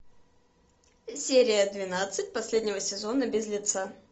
серия двенадцать последнего сезона без лица